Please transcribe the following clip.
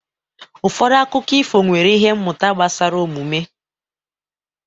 Ụfọdụ akụkọ ifo nwere ihe mmụta gbasara omume.